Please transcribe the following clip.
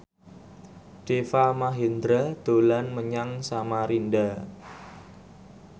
Deva Mahendra dolan menyang Samarinda